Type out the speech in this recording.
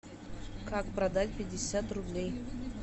как продать пятьдесят рублей